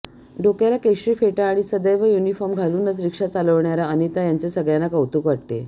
डोक्याला केशरी फेटा आणि सदैव युनिफॉर्म घालूनच रिक्षा चालविणाऱ्या अनिता यांचे सगळ्यांना कौतुक वाटते